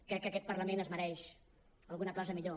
crec que aquest parlament es mereix alguna cosa millor